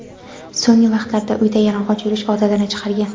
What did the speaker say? So‘nggi vaqtlarda uyda yalang‘och yurish odatini chiqargan.